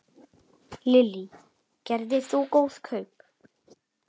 Lillý: Gerðir þú góð kaup?